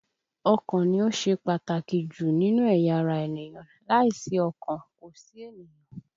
Ọkàn ni ó ṣe pàtàkì jù nínú ẹ̀yà ara ènìyàn, láìsí ọkàn, kò sí ènìyàn